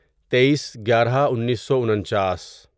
تئیس گیارہ انیسو انچاس